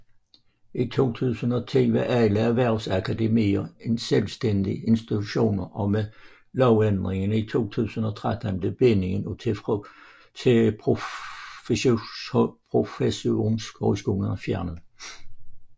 I 2010 var alle erhvervsakademier selvstændige institutioner og med lovændringen i 2013 blev bindingen til professionshøjskolerne fjernet